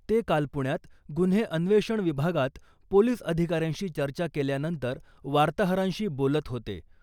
ते काल पुण्यात गुन्हे अन्वेषण विभागात पोलीस अधिकाऱ्यांशी चर्चा केल्यानंतर वार्ताहरांशी बोलत होते .